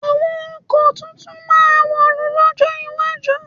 Àwọn ọkọ̀ tuntun máa wọ̀lú lọ́jọ́ iwájú.